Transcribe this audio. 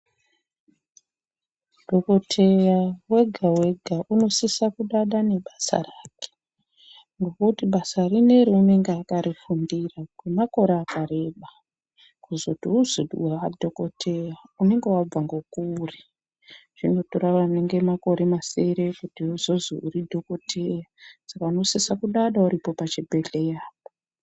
Dhokoteya wega-wega unosise kudada nebasa rake. Ngokuti basa rineri unenge akarifundira kwemakore akareba. Kuzoti uzozi waadhokoteya unenge wabva ngekure. Zvinotora anenge makore ane masere kuti uzozi waadhokoteya. Saka unosise kudada uripo pachibhedhleyapo.